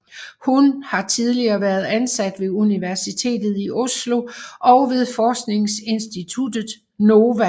Hun har tidligere været ansat ved Universitetet i Oslo og ved forskningsinstituttet NOVA